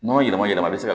Nɔnɔ yɛlɛma yɛlɛma bi se ka